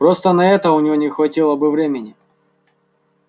просто на это у него не хватило бы времени